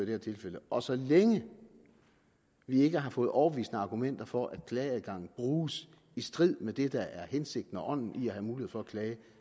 her tilfælde og så længe vi ikke har fået overbevisende argumenter for at klageadgangen bruges i strid med det der er hensigten og ånden i at have mulighed for at klage